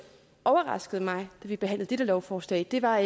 overraskede mig da vi behandlede dette lovforslag var